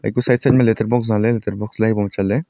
kua side side ma letter box zaleh letter box bow ma chatley.